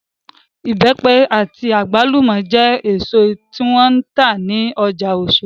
Ibẹ́pẹ àti àgbálùmọ́ jẹ́ èsò tí wọ́n ń tà ní ọjà Osodi